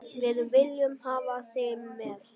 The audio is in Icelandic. Við viljum hafa þig með.